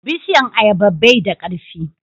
bishiyan ayaba bai da karfi